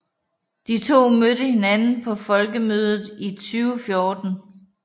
De to mødte hinanden på Folkemødet i 2014